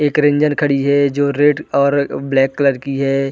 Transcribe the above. एक रेंजर खड़ी है जो रेड और ब्लैक कलर की हैं ।